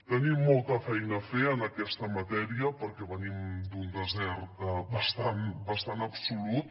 tenim molta feina a fer en aquesta matèria perquè venim d’un desert bastant absolut